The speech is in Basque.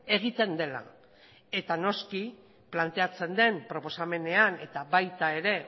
egiten dela eta noski planteatzen den proposamenean eta baita ere